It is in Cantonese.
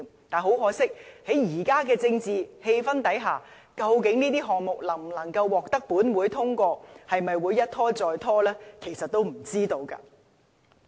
但是，在現在的政治氣候下，究竟這些項目能否獲得本會通過，會否一拖再拖，其實都不知道。